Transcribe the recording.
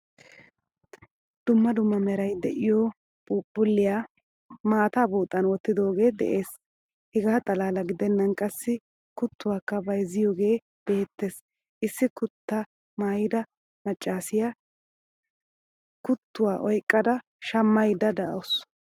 Dumma dumma meray de'iyo phuuphuliyaa maataa buuxan wottidoge de'ees. Hegaa xalala gidenan qassi kutuwakka bayzziyoge beettees. Issi kuta maayida maccasiyaa kutuwa oyqqada shammayda deawusu.